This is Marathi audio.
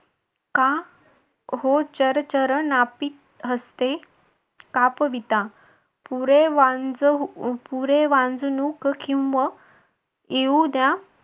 का हो चरचरण नापी हस्ते कापविता पुरे वांझ पुरे वांझवुक किंवा येऊ द्या